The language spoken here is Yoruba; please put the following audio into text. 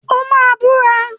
O máa búra.